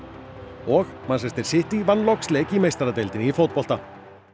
og City vann loks leik í meistaradeildinni í fótbolta